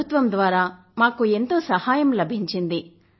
ప్రభుత్వం ద్వారా మాకు ఎంతో సహాయం లభించింది